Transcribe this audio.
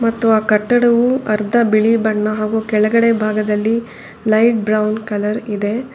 ಮತ್ತು ಅ ಕಟ್ಟಡವು ಅರ್ದ ಬಿಳಿ ಬಣ್ಣ ಹಾಗು ಕೆಳಗಡೆ ಭಾಗದಲ್ಲಿ ಲೈಟ್ ಬ್ರೌನ್ ಕಲರ್ ಇದೆ.